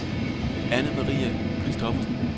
Annemarie Kristoffersen